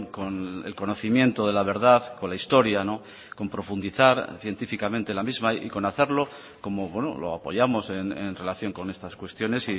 con el conocimiento de la verdad con la historia con profundizar científicamente la misma y conocerlo cómo lo apoyamos en relación con estas cuestiones